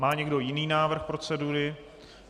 Má někdo jiný návrh procedury?